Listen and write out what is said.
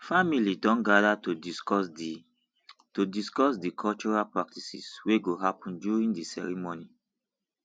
family don gather to discuss di to discuss di cultural practices wey go happen during di ceremony